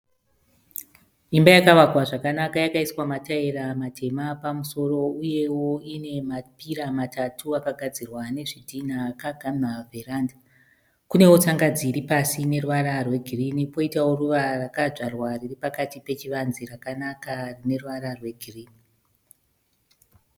Imba yakavakwa zvakanaka yakaiswa mataira matema pamusoro uyewo ine mapira matatu akagadzirwa nezvidhina akagamha vheranda. Kunewo tsangadzi iripasi ine ruvara rwegirini kwoitawo ruva rakadzvarwa riripakati pachivanze rakanaka rineruvara rwegirini.